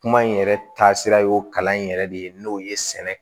Kuma in yɛrɛ taasira y'o kalan in yɛrɛ de ye n'o ye sɛnɛ